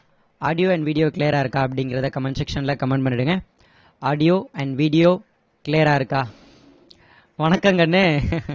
audio and video clear ரா இருக்கா அப்படிங்குறத comment section ல comment பண்ணிடுங்க audio and video clear ரா இருக்கா வணக்கம் கண்ணு